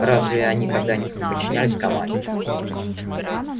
разве они когда-нибудь не подчинялись команде